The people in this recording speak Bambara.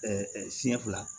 siɲɛ fila